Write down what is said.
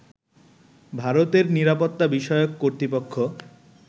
ভারতের নিরাপত্তা বিষয়ক কর্তৃপক্ষ